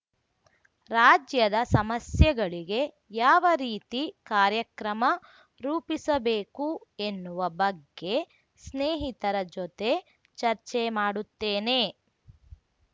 ರಾಜ್ಯದ ಸಮಸ್ಯೆಗಳಿಗೆ ಯಾವ ರೀತಿ ಕಾರ್ಯಕ್ರಮ ರೂಪಿಸಬೇಕು ಎನ್ನುವ ಬಗ್ಗೆ ಸ್ನೇಹಿತರ ಜೊತೆ ಚರ್ಚೆ ಮಾಡುತ್ತೇನೆ